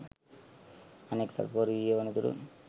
අනෙක්‌ සැකකරු ඊයේ වනතුරුත්